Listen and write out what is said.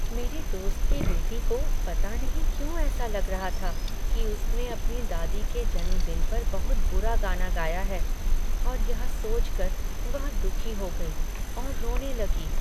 मेरी दोस्त की बेटी को पता नहीं क्यों ऐसा लग रहा था कि उसने अपनी दादी के जन्मदिन पर बहुत बुरा गाना गाया है और यह सोचकर वह दुखी हो गई और रोने लगी।